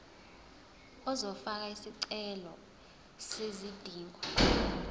uzofaka isicelo sezidingo